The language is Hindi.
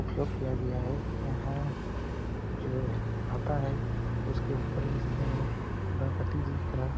उपयोग किया गया है यहाँ जो हाता है उसके ऊपरी हिस्से में गणपति जी का --